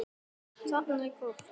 Dregur ekkert undan.